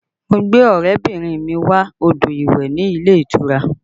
Mo gbé ọrẹ bìnrin mi wọ odò ìwẹ̀ ní ilé ìtura